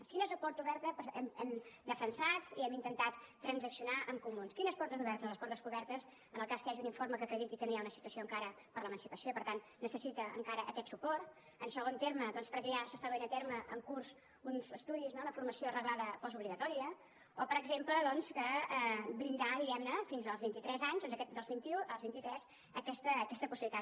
quina és la porta oberta que hem defensat i hem intentat transaccionar amb comuns quines portes obertes doncs les portes obertes en el cas que hi hagi un informe que acrediti que no hi ha una situació encara per a l’emancipació i per tant necessita encara aquest suport en segon terme perquè ja s’estan duent a terme en curs uns estudis no una formació reglada postobligatòria o per exemple blindar diguem ne fins als vint i tres anys dels vint i u als vinti tres aquesta possibilitat